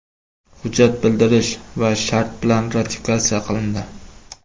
Hujjat bildirish va shart bilan ratifikatsiya qilindi.